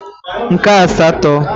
nke asatọ